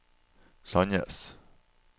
Sandnes